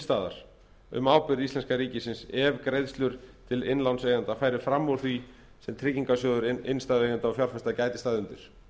staðar um ábyrgð íslenska ríkisins ef greiðslur til innlánseigenda færu fram úr því sem tryggingarsjóður innstæðueigenda og fjárfesta gæti staðið undir